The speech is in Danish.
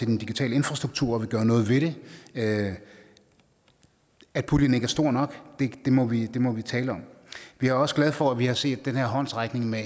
den digitale infrastruktur og vil gøre noget ved det at at puljen ikke er stor nok må vi må vi tale om vi er også glade for at vi har set den her håndsrækning med